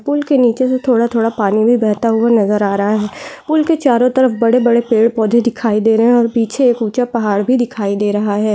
पुल के नीचे से थोड़ा थोड़ा पानी बहता हुआ नज़र आ रहा है पुल के चारों तरफ बड़े बड़े पेड़ पौधे दिखाई दे रहे हैं और ऊँचा पहाड़ भी दिखाई दे रहा--